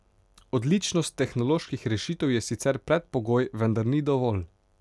Odličnost tehnoloških rešitev je sicer predpogoj, vendar ni dovolj.